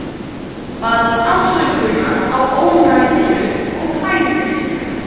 Baðst afsökunar á ónæðinu og færði mig.